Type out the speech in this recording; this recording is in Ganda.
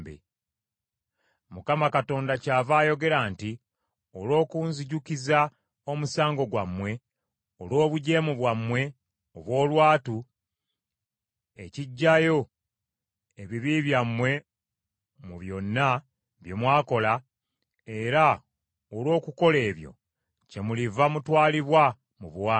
“ Mukama Katonda kyava ayogera nti, ‘Olw’okunzijjukiza omusango gwammwe, olw’obujeemu bwammwe obw’olwatu, ekiggyayo ebibi byammwe mu byonna bye mwakola, era olw’okukola ebyo, kyemuliva mutwalibwa mu buwambe.